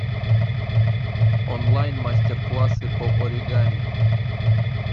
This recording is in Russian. онлайн мастер классы по оригами